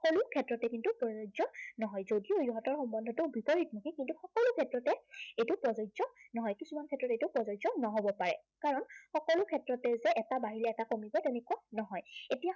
সকলো ক্ষেত্ৰতে কিন্তু প্ৰযোজ্য় নহয়, যদিও ইহঁতৰ সম্বন্ধটো বিপৰীতমুখী কিন্তু সকলো ক্ষেত্ৰতে এইটো প্ৰযোজ্য় নহয়। কিছুমান ক্ষেত্ৰত এইটো প্ৰযোজ্য় নহবও পাৰে। সকলো ক্ষেত্ৰতে যে এটা বাহিৰত এটা ভিতৰত তেনেকে নহয়। এতিয়া